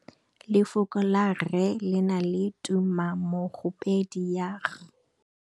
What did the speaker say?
Lefoko la rre le na le tumammogôpedi ya, r.